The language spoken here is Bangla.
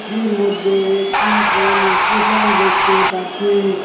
টির মধ্যে একটি ট্রেন এস্টেশন দেখতে পারছি।